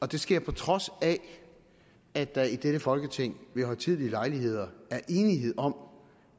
det sker på trods af at der i dette folketing ved højtidelige lejligheder er enighed om